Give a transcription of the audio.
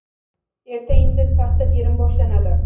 Erta-indin paxta terim boshlanadi.